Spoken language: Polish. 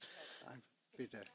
Panie Przewodniczący!